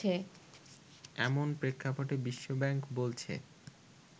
এমন প্রেক্ষাপটে বিশ্বব্যাংক বলছে